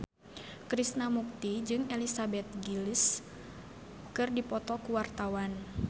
Krishna Mukti jeung Elizabeth Gillies keur dipoto ku wartawan